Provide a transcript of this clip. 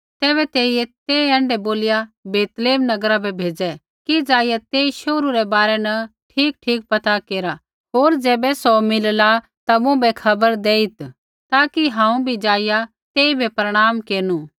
तैबै तेइयै ते ऐण्ढै बोलिया बैतलैहम नगरा बै भेज़ै कि ज़ाईया तेई शोहरू रै बारै न ठीकठीक पता केरा होर ज़ैबै सौ मिलला ता मुँभै खबर देइत् ताकि हांऊँ भी ज़ाइआ तेइबै प्रणाम केरनु